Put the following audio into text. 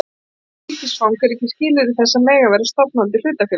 Íslenskt ríkisfang er ekki skilyrði þess að mega vera stofnandi hlutafélags.